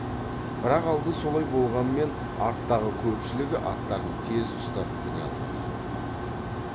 бірақ алды солай болғанмен арттағы көпшілігі аттарын тез ұстап міне алмай жатыр